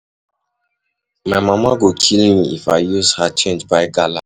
My mama go kill me if I use her change buy gala.